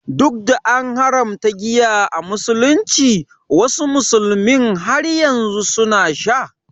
Duk da an haramta giya a musulunci, wasu musulmin har yanzu suna sha.